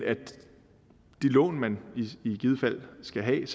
det lån man i givet fald skal have